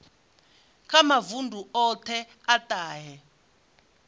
kha mavundu othe a tahe